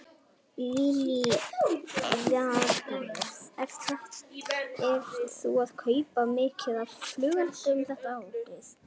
Lillý Valgerður: Ert þú að kaupa mikið af flugeldum þetta árið?